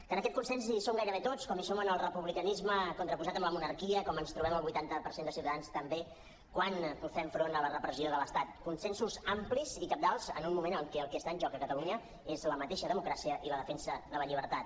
que en aquest consens hi som gairebé tots com hi som en el republicanisme contraposat a la monarquia com ens trobem el vuitanta per cent de ciutadans també quan fem front a la repressió de l’estat consensos amplis i cabdals en un moment en què el que està en joc a catalunya és la mateixa democràcia i la defensa de la llibertat